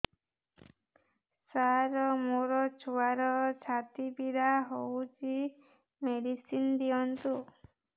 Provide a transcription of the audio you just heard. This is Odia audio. ସାର ମୋର ଛୁଆର ଛାତି ପୀଡା ହଉଚି ମେଡିସିନ ଦିଅନ୍ତୁ